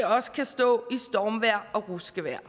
også kan stå i stormvejr og ruskevejr